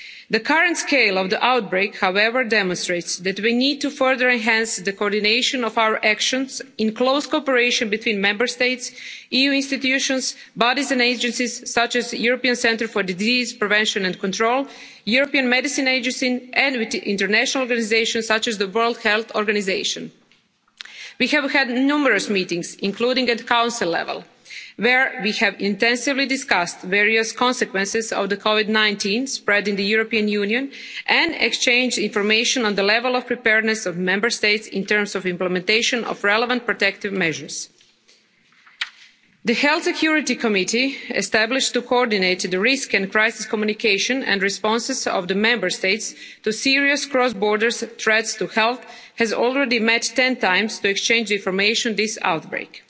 The current scale of the outbreak, however, demonstrates that we need to further enhance the coordination of our actions in close cooperation between Member States, EU institutions, bodies and agencies such as the European Centre for Disease Prevention and Control and the European Medicines Agency, and with the international organisations such as the World Health Organization. We have had numerous meetings, including at Council level, where we have intensively discussed various consequences of the Covid 19 spread in the European Union, and exchanged information on the level of preparedness of Member States in terms of the implementation of relevant protective measures. The Health Security Committee established to coordinate risk and crisis communication and the responses of the Member States to serious cross border threats to health has already met 10 times to exchange information on this outbreak.